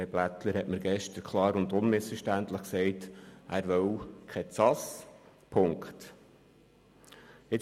Herr Blättler sagte mir gestern klar und unmissverständlich, er wolle keine zentrale Ausnüchterungsstelle.